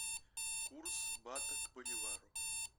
курс бата к боливару